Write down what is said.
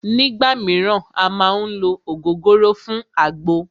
Nígbà míràn à má ń ló ògógóró fún àgbo